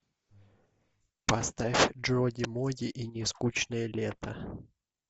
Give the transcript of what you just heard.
поставь джоди моди и нескучное лето